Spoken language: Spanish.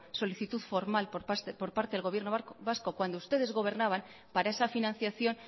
solicitud formal por parte del gobierno vasco cuando ustedes gobernaban para esa financiación